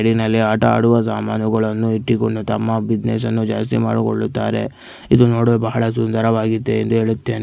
Greenery ಆಟ ಆಡುವ ಸಾಮಾನುಗಳನ್ನು ಇಟ್ಟಿಕೊಂಡು ತಮ್ಮ ಬಿಸಿನೆಸ್ ಅನ್ನ ಜಾಸ್ತಿ ಮಾಡಿಕೊಳ್ಳುತ್ತಾರೆ. ಇಲ್ಲಿ ನೋಡಲು ಬಹಳ ಸುಂದರವಾಗಿದೆ ನೀಡುತ್ತೆ.